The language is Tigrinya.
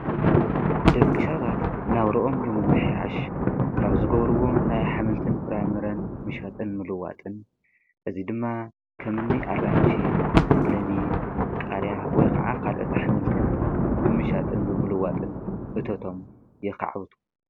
ደቂ ሰባት ናብርኦም ንምምሕያሽ ካብ ዝገብርዎም ናይ ኣሕምልትን ፍራምረን ምሻጥን ምልዋጥን እዙይ ድማ ከም እኒ ኣራንሺ፣ ለሚን፣ ቃርያ ወይ ከዓ ካልኦት ኣሕምልትን ብምሻጥን ብምልዋጥን እቶቶም የኻዕብቱ፡፡